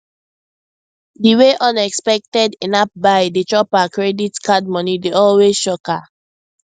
di way unexpected inapp buy dey just chop her credit card money dey always shock her